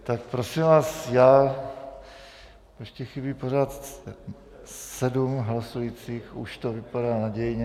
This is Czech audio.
Tak prosím vás, já... ještě chybí pořád sedm hlasujících, už to vypadá nadějně...